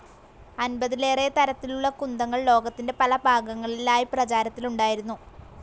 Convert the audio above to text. അൻപതിലേറെ തരത്തിലുള്ള കുന്തങ്ങൾ ലോകത്തിന്റെ പല ഭാഗങ്ങളിലായി പ്രചാരത്തിലുണ്ടായിരുന്നു.